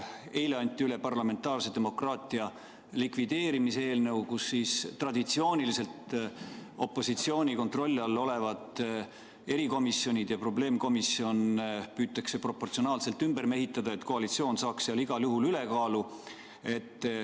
Eile anti üle parlamentaarse demokraatia likvideerimise eelnõu, millega traditsiooniliselt opositsiooni kontrolli all olevad erikomisjonid ja probleemkomisjon püütakse proportsionaalselt ümber mehitada, et koalitsioon saaks neis igal juhul ülekaalu.